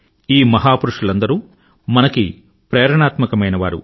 ఈ మహా పురుషులందరూ మనకి ప్రేరణాత్మకమైనవారు